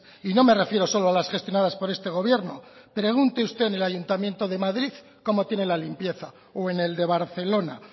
y no me refiero solo a las gestionadas por este gobierno pregunte usted en el ayuntamiento de madrid cómo tiene la limpieza o en el de barcelona